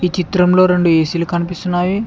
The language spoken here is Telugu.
ఈ చిత్రంలో రెండు ఏ_సీలు కనిపిస్తున్నాయి.